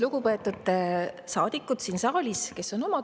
Lugupeetud saadikud siin saalis kes on oma tubades!